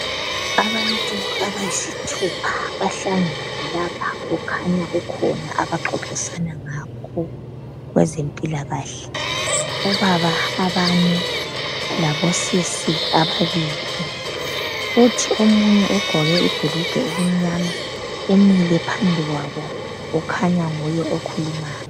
Abantu abayisithupha bahlangene lapha kukhanya kukhona abaxoxisana ngakho kwezempilakahle obaba abane lamantombazana amabili kuthi omunye ugqoke ibhulugwe elimnyama umile phambi kwabo kukhanya nguye okhulumayo.